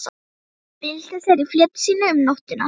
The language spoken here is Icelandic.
Hann bylti sér í fleti sínu um nóttina.